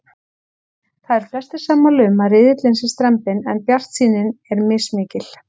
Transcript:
Það eru flestir sammála um að riðillinn sé strembinn en bjartsýnin er mismikil.